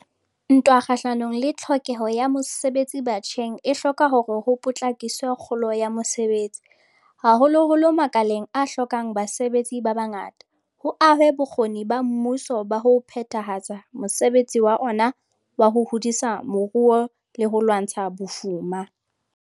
Ntwa kgahlano le tlhokeho ya mosebetsi batjheng e hloka hore ho potlakiswe kgolo ya mosebetsi, haholoholo makaleng a hlokang basebetsi ba bangata, ho ahwe bokgoni ba mmuso ba ho phethahatsa mosebetsi wa ona wa ho hodisa moruo le ho lwantsha bofuma.